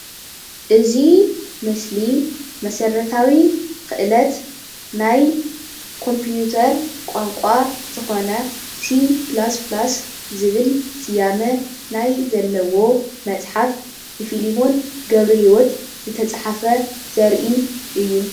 እዚ ምስሊ መስረታዊ ክእለት ናይ ኮምፒወተር ቋንቋ ዝኮነ C++ ዝብል ስያመ ናይ ዘለዎ መፅሓፍ ብፊሊሞን ገብረሂወት ዝተፃሕፈ ዘሪኢ እዩ፡፡